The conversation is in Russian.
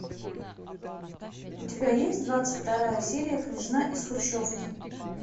у тебя есть двадцать вторая серия княжна из хрущевки